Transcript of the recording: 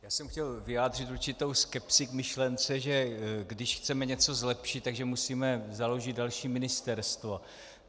Já jsem chtěl vyjádřit určitou skepsi k myšlence, že když chceme něco zlepšit, tak musíme založit další ministerstvo.